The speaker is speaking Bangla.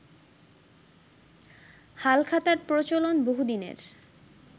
হালখাতার প্রচলন বহুদিনের